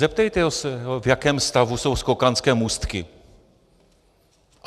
Zeptejte se ho, v jakém stavu jsou skokanské můstky.